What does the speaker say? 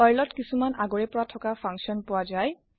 Perl ত কিছুমান আগৰে পৰা থকা ফাংছন পোৱা যায়